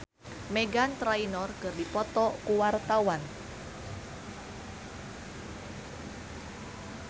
Citra Scholastika jeung Meghan Trainor keur dipoto ku wartawan